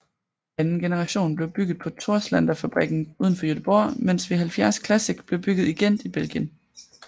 Anden generation blev bygget på Torslandafabrikken udenfor Göteborg mens V70 Classic blev bygget i Gent i Belgien